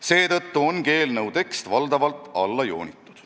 Seetõttu ongi eelnõu tekst valdavalt alla joonitud.